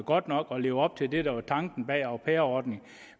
godt nok og lever op til det der er tanken bag au pair ordningen